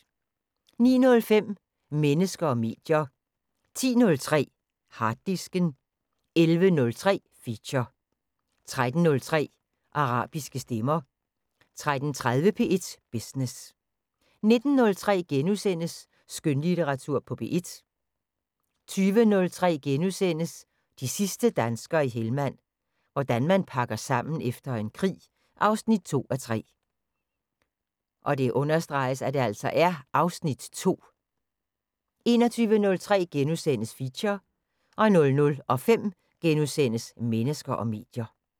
09:05: Mennesker og medier 10:03: Harddisken 11:03: Feature 13:03: Arabiske stemmer 13:30: P1 Business 19:03: Skønlitteratur på P1 * 20:03: De sidste danskere i Helmand – hvordan man pakker sammen efter en krig 2:3 (Afs. 2)* 21:03: Feature * 00:05: Mennesker og medier *